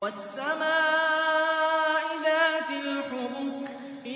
وَالسَّمَاءِ ذَاتِ الْحُبُكِ